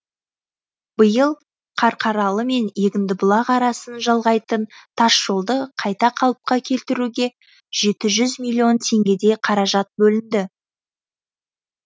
биыл қарқаралы мен егіндібұлақ арасын жалғайтын тас жолды қайта қалыпқа келтіруге жеті жүз миллион теңгедей қаражат бөлінді